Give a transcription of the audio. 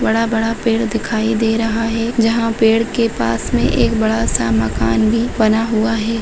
बड़ा-बड़ा पेड़ दिखाई दे रहा है जहा पेड़ के पास मे एक बड़ासा मकान भी बना हुआ है।